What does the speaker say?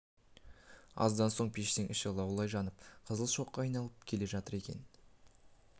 аздан соң пештің іші лаулай жанып қызыл шоққа айналып келе жатыр екен